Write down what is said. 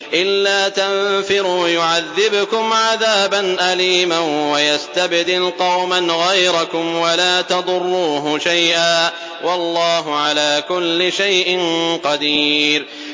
إِلَّا تَنفِرُوا يُعَذِّبْكُمْ عَذَابًا أَلِيمًا وَيَسْتَبْدِلْ قَوْمًا غَيْرَكُمْ وَلَا تَضُرُّوهُ شَيْئًا ۗ وَاللَّهُ عَلَىٰ كُلِّ شَيْءٍ قَدِيرٌ